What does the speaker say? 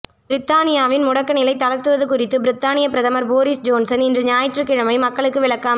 பிரித்தானியாவின் முடக்க நிலை தளர்த்துவது குறித்து பிரித்தானியப் பிரதமர் போரிஸ் ஜோன்சன் இன்று ஞாயிற்றுக்கிழமை மக்களுக்கு விளக்கம்